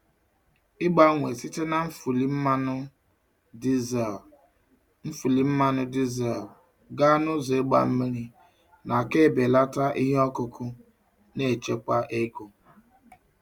Ịgbanwe site na nfuli mmanụ dizel nfuli mmanụ dizel gaa na ụzọ ịgba mmiri n'aka na-ebelata ihe ọkụkụ na-echekwa ego.